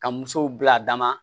Ka musow bila adama